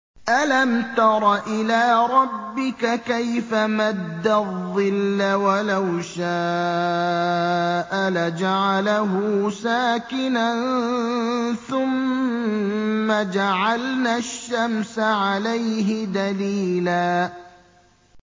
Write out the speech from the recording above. أَلَمْ تَرَ إِلَىٰ رَبِّكَ كَيْفَ مَدَّ الظِّلَّ وَلَوْ شَاءَ لَجَعَلَهُ سَاكِنًا ثُمَّ جَعَلْنَا الشَّمْسَ عَلَيْهِ دَلِيلًا